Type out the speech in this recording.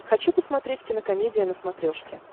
хочу посмотреть кинокомедия на смотрешке